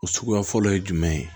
O suguya fɔlɔ ye jumɛn ye